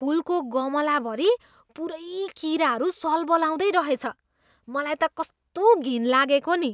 फुलको गमलाभरि पुरै किराहरू सल्बलाउँदै रहेछ। मलाई त कस्तो घिन लागेको नि!